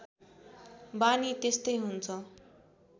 बानी त्यस्तै हुन्छ